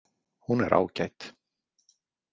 Hún er ágæt.